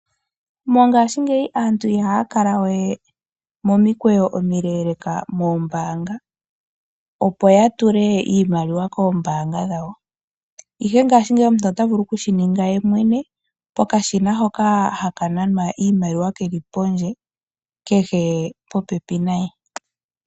Mongasingeyi aantu ihaya kala we momikweyo omileleka dhombanga opo ya tule iimaliwa kombanga dhawo, ihe mongashingeyi omuntu ota vulu oku shininga yemwene pokashina hoka ha ka nanwa iimaliwa, keli pondje kehe keli popepi naye.